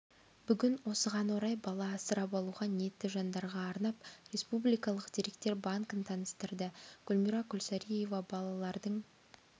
бүгін осыған орай бала асырап алуға ниетті жандарға арнап республикалық деректер банкін таныстырды гүлмира күлсариева балалардың